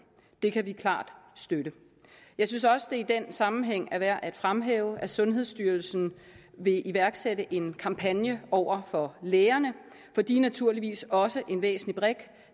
det kan vi klart støtte jeg synes også i den sammenhæng er værd at fremhæve at sundhedsstyrelsen vil iværksætte en kampagne over for lægerne for de er naturligvis også en væsentlig brik